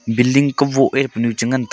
billing kuboh eh punu chi ngantaga.